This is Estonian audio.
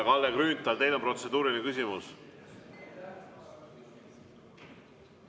Kalle Grünthal, teil on protseduuriline küsimus.